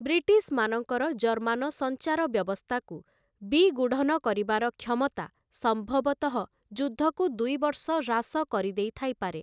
ବ୍ରିଟିଶ୍‍ମାନଙ୍କର German ସଞ୍ଚାରବ୍ୟବସ୍ଥାକୁ ବିଗୂଢ଼ନ କରିବାର କ୍ଷମତା ସମ୍ଭବତଃ ଯୁଦ୍ଧକୁ ଦୁଇ ବର୍ଷ ହ୍ରାସ କରିଦେଇଥାଇପାରେ ।